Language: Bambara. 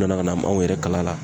U nana ka na maaw yɛrɛ kala la